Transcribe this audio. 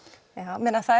það